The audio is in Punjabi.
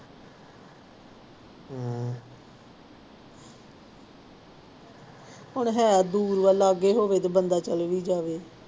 ਹੁਣ ਹੈ ਦੂਰ ਵਾ ਲਾਗੇ ਹੋਵੇ ਤੇ ਬੰਦਾ ਚਲੇ ਵੀ ਜਾਵੇ।